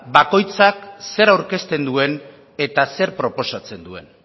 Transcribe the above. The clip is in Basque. bakoitzak zer aurkezten duen eta zer proposatzen duen